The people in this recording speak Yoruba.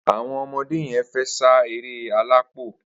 Awọn ọmọdé yèn fè sá éré àlápó